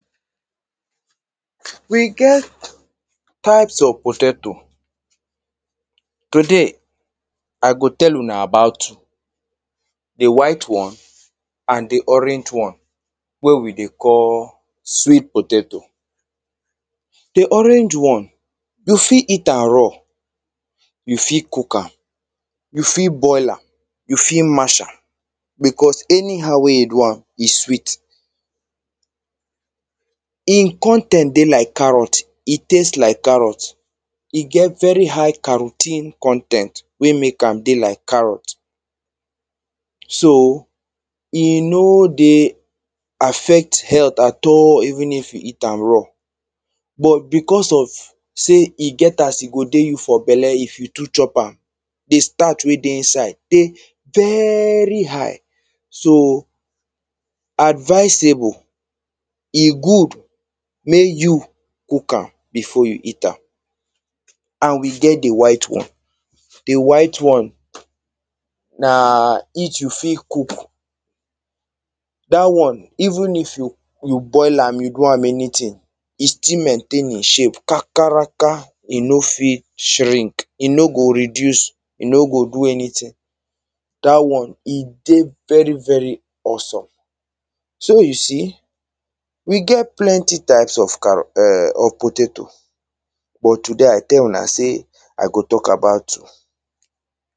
We get types of potato Today, I go tell una about two: the white one and the orange one, wey we dey call sweet potato. The orange one, you fit eat am raw. You fit cook am. You fit boil am. You fit mash am. Because anyhow wey you do am, e sweet. E con ten t dey like carrot, e taste like carrot. E get very high carrotine con ten t wey mek am be like carrot So, e no dey affect health at all even if you eat am raw. But, because of say e get as e go do you for belle if you too chop am. The starch wey dey inside dey very high, so, advisable, e good mek you cook am before you eat am And we get the white one. The white one, na each you fit cook. That one, even if you boil am, you do am anything, e still maintain e shape kakalaka. E no fit shrink, e no go reduce, e no go do anything. That one, e dey very, very awesome. So, you see we get plenty types of carro .um, of potato. But today, I tell una say I go talk about two.